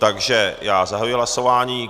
Takže já zahajuji hlasování.